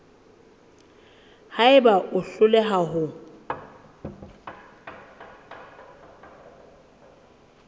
ha eba o hloleha ho